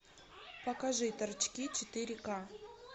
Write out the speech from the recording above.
покажи торчки четыре ка